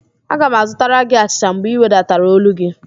Aga m azụtara gị achịcha mgbe ị wedatara ólú gị